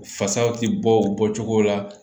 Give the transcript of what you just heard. Fasaw ti bɔ o bɔcogo la